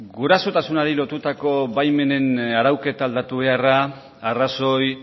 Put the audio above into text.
gurasotasunari lotutako baimenen arauketa aldatu beharra arrazoi